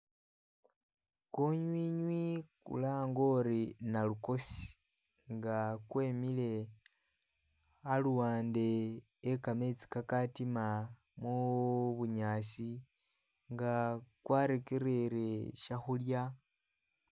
Kunywinywi kulange uli nalukoosi nga kwemile aluwande e kametsi kakatima mu bunyaasi nga kwa rekerere sha khulya.